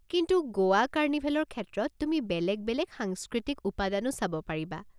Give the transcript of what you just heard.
কিন্তু গোৱা কাৰ্নিভেলৰ ক্ষেত্ৰত তুমি বেলেগ বেলেগ সাংস্কৃতিক উপাদানো চাব পাৰিবা।